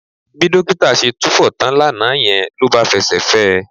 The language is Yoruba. Bí dókítà ṣe túfọ̀ tán lánàá yẹn ló bá fẹsẹ̀ fẹ́ ẹ